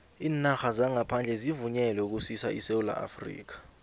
iinarha zangaphandle zivunyelwe ukusisa esewula afrika